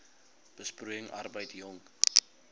besproeiing arbeid jong